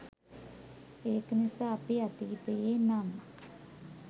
ඒක නිසා අපි අතීතයේ නම්